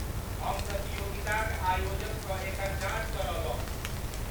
हम प्रतियोगिताक आयोजकसँ एकर जॉच करौलहुँ।